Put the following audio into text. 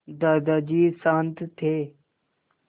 दादाजी शान्त थे